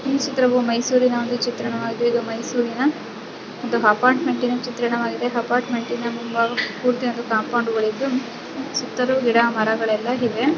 ಈ ಚಿತ್ರವು ಮೈಸೂರಿನ ಒಂದು ಚಿತ್ರಣವಾಗಿದೆ ಇದು ಮೈಸೂರಿನ ಒಂದು ಅಪಾರ್ಟ್ಮೆಂಟಿನ ಚಿತ್ರಣವಾಗಿದೆ ಅಪಾರ್ಟ್ಮೆಂಟಿನ ಮುಂಬಾಗ ಪೂರ್ತಿ ಒಂದು ಕಾಂಪೌಂಡ್ ಗಳು ಇದ್ದು ಸುತ್ತಲೂ ಗಿಡ ಮರಗಳೆಲ್ಲಾ ಇವೆ.